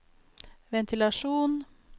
ventilasjon